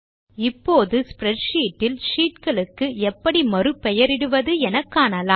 இப்போது ஸ்ப்ரெட்ஷீட் இல் ஷீட் களுக்கு எப்படி மறு பெயரிடுவது என்று காணலாம்